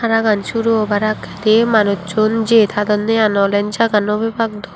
ragaan suru obaar akkedi manussun jei tadonye i nwolen jagah nw pebaak dw.